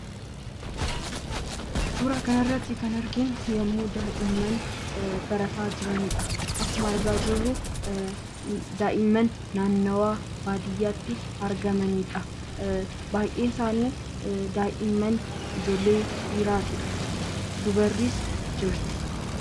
suuraa kanarratti kan arginu yommuu daa'imman barataa jiranidha. Akkuma argaa jirru daa'imman naannawaa baadiyyaatti argamanidha. Baay'een isaanii daa'imman ijoollee dhiiraatidha dubarris jirti.